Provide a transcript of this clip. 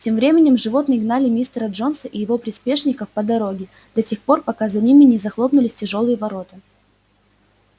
тем временем животные гнали мистера джонса и его приспешников по дороге до тех пор пока за ними не захлопнулись тяжёлые ворота